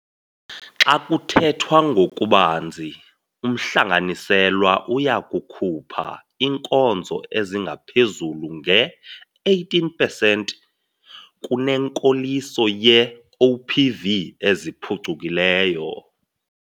Xa kuthethwa ngokubanzi, umhlanganiselwa uya kukhupha iinkonzo ezingaphezulu nge-18 pesenti kunenkoliso yee-OPV eziphucukileyo.